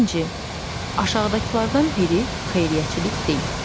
İkinci, aşağıdakılardan biri xeyriyyəçilik deyil.